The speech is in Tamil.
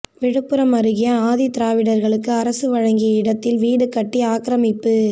விழுப்புரம் அருகே ஆதிதிராவிடர்களுக்கு அரசு வழங்கிய இடத்தில் வீடு கட்டி ஆக்கிரமிப்பு